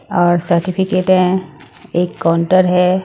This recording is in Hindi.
और सर्टिफिकेट हैं एक काउंटर हैं ।